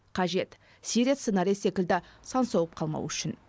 қажет сирия сценариі секілді сан соғып қалмау үшін